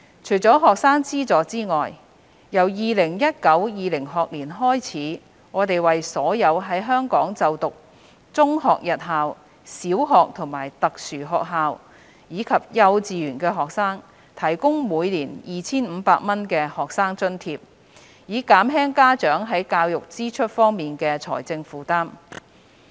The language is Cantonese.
除學生資助外，自 2019-2020 學年起，我們為所有在香港就讀中學日校、小學和特殊學校，以及幼稚園的學生提供每年 2,500 元的學生津貼，以減輕家長在教育支出方面的財政負擔。